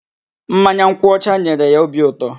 Mmanya nkwụ ọcha nyere ya obi ụtọ.